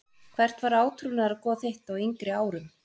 Hvert var átrúnaðargoð þitt á yngri árum?